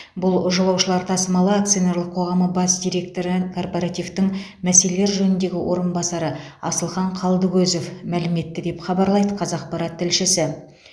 бұл жолаушылар тасымалы акционерлік қоғамы бас директорі корпоративтің мәселелер жөніндегі орынбасары асылхан қалдыкозов мәлім етті деп хабарлайды қазақпарат тілшісі